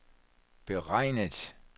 beregnet